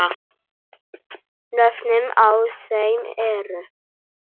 Nöfnin á þeim eru